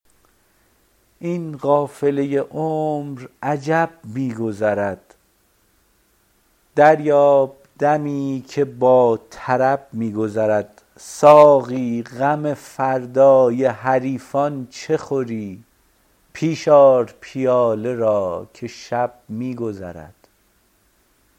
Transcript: این قافله عمر عجب می گذرد دریاب دمی که با طرب می گذرد ساقی غم فردای حریفان چه خوری پیش آر پیاله را که شب می گذرد